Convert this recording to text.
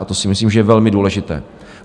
A to si myslím, že je velmi důležité.